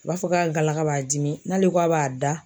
A b'a fɔ k'a galaka b'a dimi n'ale k'a b'a da